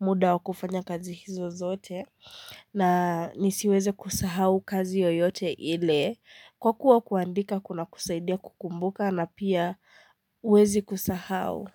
muda wa kufanya kazi hizo zote na nisiweze kusahau kazi yoyote ile kwa kuwa kuandika kunakusaidia kukumbuka na pia huwezi kusahau.